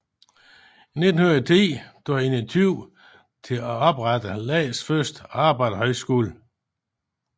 I 1910 tog han initiativ til at oprettes landets første arbejderhøjskole